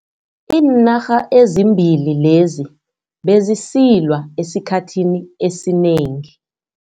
Iinarha ezimbili lezi bezisilwa esikhathini esinengi.